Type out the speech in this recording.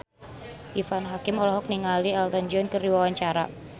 Irfan Hakim olohok ningali Elton John keur diwawancara